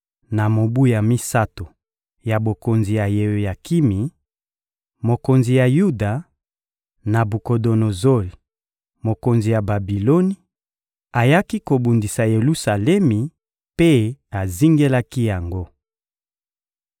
Na mobu ya misato ya bokonzi ya Yeoyakimi, mokonzi ya Yuda, Nabukodonozori, mokonzi ya Babiloni, ayaki kobundisa Yelusalemi mpe azingelaki yango.